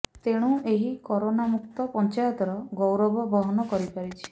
ତେଣୁ ଏହି କରୋନା ମୁକ୍ତ ପଂଚାୟତର ଗୌରବ ବହନ କରିପାରିଛି